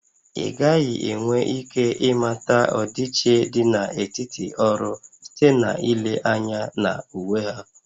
Ị gaghị enwe ike ịmata ọdịiche dị n'etiti ọrụ site n'ile anya na uwe ha?